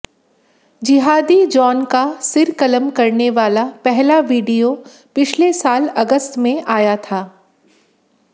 जिहादी जॉन का सिर कलम करने वाला पहला वीडियो पिछले साल अगस्त में आया था